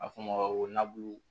A fɔ o ma ko nabulu